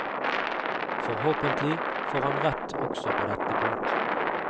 Forhåpentlig får han rett også på dette punkt.